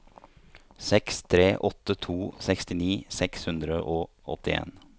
seks tre åtte to sekstini seks hundre og åttien